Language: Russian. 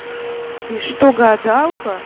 ты что гадалка